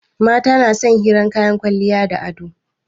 Mata na son hirar kayan kwalliya da ado